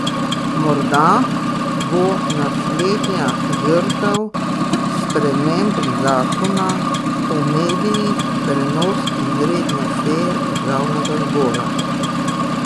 Morda bo naslednja žrtev sprememb zakona o medijih prenos izredne seje državnega zbora?